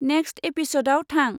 Next एपिसदाव थां।